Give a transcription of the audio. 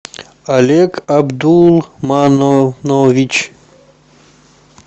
олег абдулманович